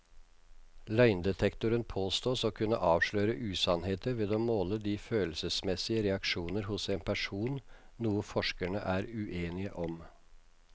Løgndetektoren påstås å kunne avsløre usannheter ved å måle de følelsesmessige reaksjoner hos en person, noe forskerne er uenige om.